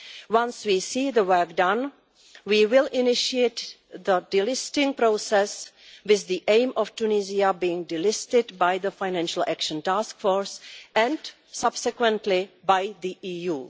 Once we see the work done, we will initiate the delisting process, with the aim of Tunisia being delisted by the Financial Action Task Force and subsequently by the EU.